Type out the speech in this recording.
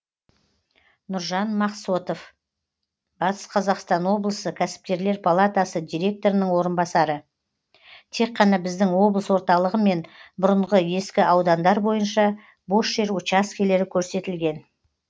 нұржан мақсотов батыс қазақстан облысы кәсіпкерлер палатасы директорының орынбасары тек қана біздің облыс орталығы мен бұрынғы ескі аудандар бойынша бос жер учаскелері көрсетілген